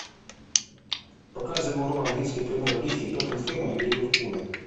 показывай игру английской премьер лиги тоттенхэма и ливерпуля